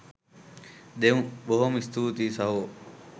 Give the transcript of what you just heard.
දෙමු බොහොම ස්තූතියි සහෝ.